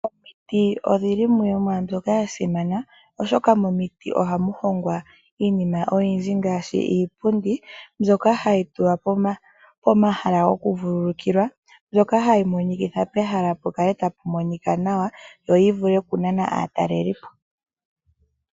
Omiti odhili dhimwe yoomwaa mbyoka yasimana oshoka momiti ohamu hongwa iinima oyindji ngaashi iipundi mbyoka hayi tulwa pomahala goku vululukilwa, mbyoka hayi monikitha pehala tapu monika nawa yo yivule okunana aatalelipo.